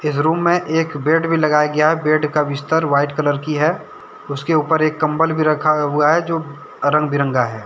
Room में एक bed भी लगाया गया हैं बेड का बिस्तर व्हाईट कलर की हैं उसके ऊपर एक कंबल भी रखा हुआ हैं जो रंग बिरंगा है।